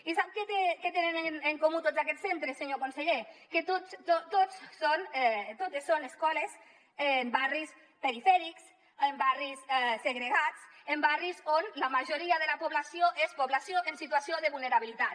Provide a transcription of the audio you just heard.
i sap què tenen en comú tots aquests centres senyor conseller que totes són escoles en barris perifèrics en barris segregats en barris on la majoria de la població és població en situació de vulnerabilitat